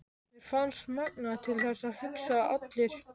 Mér fannst magnað til þess að hugsa að allir